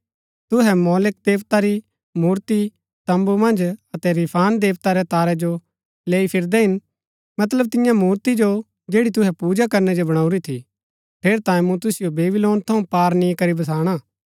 तुहै मोलेक देवता री मूर्ति तम्बू मन्ज अतै रिफान देवता रै तारै जो लैई फिरदै हिन मतलब तियां मूर्ति जो जैड़ी तुहै पूजा करनै जो बणाऊरी थी ठेरैतांये मूँ तुसिओ बेबीलोन थऊँ पार नी करी बसाणा